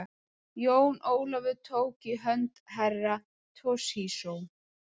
Jón Ólafur tók í hönd Herra Toshizo.